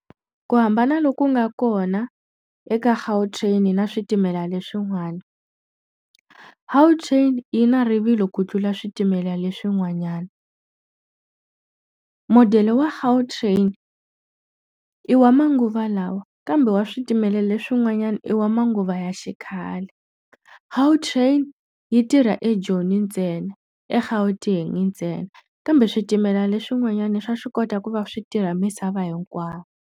Ku hambana loku nga kona eka Gautrain na switimela leswin'wana. Gautrain yi na rivilo ku tlula switimela leswin'wanyana. Modele wa Gautrain i wa manguva lawa kambe wa switimela leswin'wanyana i wa manguva ya xikhale. Gautrain yi tirha eJoni ntsena eGauteng ntsena, kambe switimela leswin'wanyana swa swi kota ku va swi tirha misava hinkwayo.